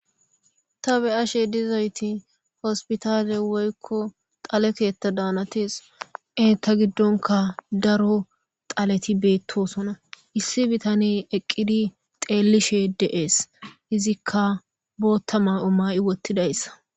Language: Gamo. Ta be ashe dizayti hospitale woykko xaleketa daanatees e ta giddonka daro xaleti beettosona issi bitane eqqidi xeelishe de'ees izikka bootta ma'o may'i wottidayssa.